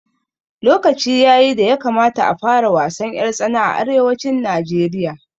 Lokaci yayi da ya kamata a fara wasan ƴar tsana a arewacin Najeriya